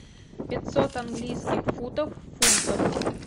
пятьсот английских футов в фунтах